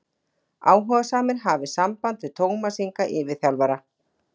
Áhugasamir hafi samband við Tómas Inga yfirþjálfara.